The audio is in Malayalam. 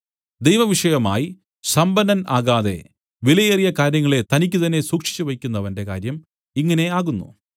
ദൈവവിഷയമായി സമ്പന്നൻ ആകാതെ വിലയേറിയ കാര്യങ്ങളെ തനിക്കു തന്നേ സൂക്ഷിച്ച് വെയ്ക്കുന്നവന്റെ കാര്യം ഇങ്ങനെ ആകുന്നു